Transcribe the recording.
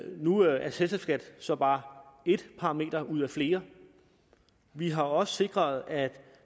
nu er selskabsskat så bare ét parameter ud af flere vi har også sikret at